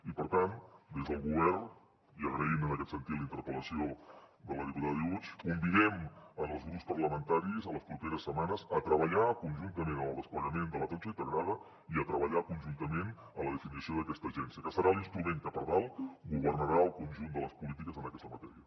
i per tant des del govern i agraint en aquest sentit la interpel·lació de la diputada driouech convidem els grups parlamentaris en les properes setmanes a treballar conjuntament en el desplegament de l’atenció integrada i a treballar conjuntament en la definició d’aquesta agència que serà l’instrument que per dalt governarà el conjunt de les polítiques en aquesta matèria